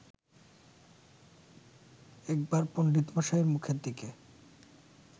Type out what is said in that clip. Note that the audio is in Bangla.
একবার পণ্ডিতমশায়ের মুখের দিকে